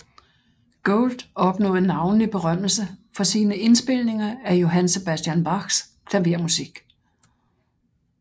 Gould opnåede navnlig berømmelse for sine indspilninger af Johann Sebastian Bachs klavermusik